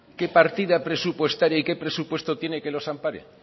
qué partida presupuestaria y qué presupuesto tiene que los ampare